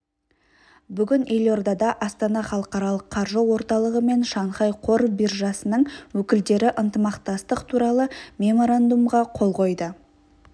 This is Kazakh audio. бүгін елордада астана халықаралық қаржы орталығы мен шанхай қор биржасының өкілдері ынтымақтастық туралы меморандумға қол қойды